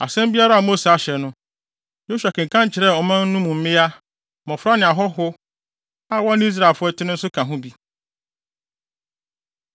Asɛm biara a Mose ahyɛ no, Yosua kenkan kyerɛɛ ɔman mu no a mmea, mmofra ne ahɔho a wɔne Israelfo no te no nso ka ho bi.